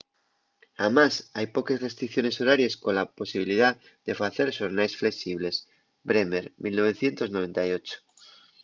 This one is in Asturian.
amás hai poques restricciones horaries cola posibilidá de facer xornaes flexibles. bremer 1998